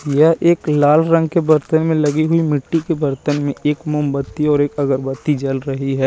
यह एक लाल रंग के बर्तन में लगी हुई मिट्टी के बर्तन में एक मोमबत्ती और एक अगरबत्ती जल रही है।